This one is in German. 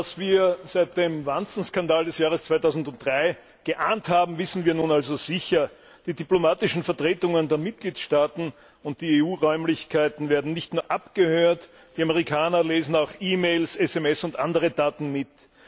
Was wir seit dem Wanzenskandal des Jahres 2003 geahnt haben, wissen wir nun also sicher Die diplomatischen Vertretungen der Mitgliedstaaten und die EU Räumlichkeiten werden nicht nur abgehört, die Amerikaner lesen auch E Mails, SMS und andere Daten mit.